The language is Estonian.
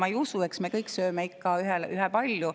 Seda ma ei usu, sest eks me kõik sööme ikka ühepalju.